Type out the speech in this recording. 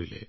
ধনপাল জীৰ